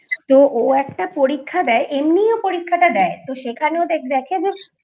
তো ও একটা পরীক্ষা দেয় এমনিই ও পরীক্ষাটা দেয় তো সেখানে ও দেখে যে